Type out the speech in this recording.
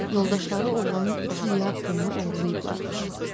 Yoldaşları oğlanın iki lir pulunu oğurlayıblarmış.